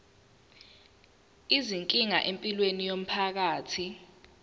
izinkinga empilweni yomphakathi